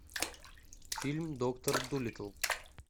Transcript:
фильм доктор дулиттл